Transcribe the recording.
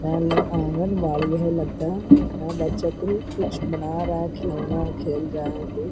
और यह आंगनबाड़ी घर लगता है। यहाँ बच्चे के लिए कुछ बना रहा है। खिलौना खेल रहा है।